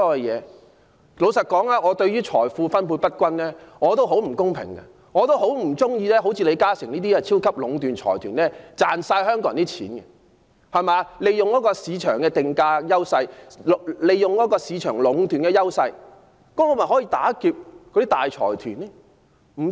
坦白說，我對於財富分配不均也深痛惡絕，也不喜歡李嘉誠家族這類超級財團的壟斷，賺盡香港人的錢，利用市場定價的優勢作出壟斷，但我是否可因此打劫大財團呢？